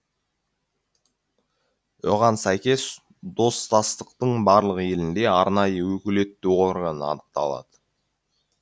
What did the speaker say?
оған сәйкес достастықтың барлық елінде арнайы өкілетті орган анықталады